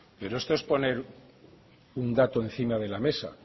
pero esto es poner un dato encima de la mesa